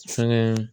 Fɛnkɛ